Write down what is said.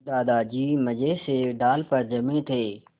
दादाजी मज़े से डाल पर जमे थे